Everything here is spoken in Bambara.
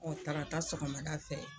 tarata sɔgɔmada fɛ